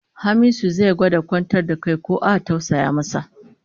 Hamisu zai gwada kwantar da kai ko a tausaya masa